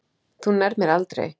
Þú nærð mér aldrei.